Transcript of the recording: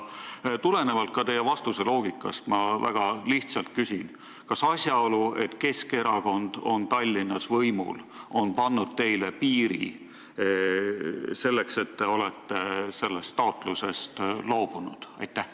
Tulenevalt ka teie vastuse loogikast on mul väga lihtne küsimus: kas see asjaolu, et Keskerakond on Tallinnas võimul, on pannud teile piiri ja sellepärast olete te sellest taotlusest loobunud?